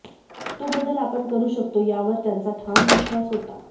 तो बदल आपण करु शकतो यावर त्यांचा ठाम विश्वास होता